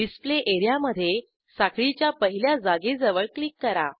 display area मधे साखळीच्या पहिल्या जागेजवळ क्लिक करा